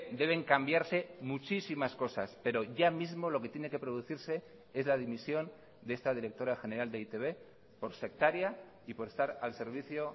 deben cambiarse muchísimas cosas pero ya mismo lo que tiene que producirse es la dimisión de esta directora general de e i te be por sectaria y por estar al servicio